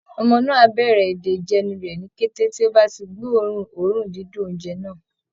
Ọmọ náà á bẹ̀rẹ̀ èdè ìjẹnu rẹ̀ ní kété tó bá ti gbóòórùn oòrùn dídùn oúnjẹ náà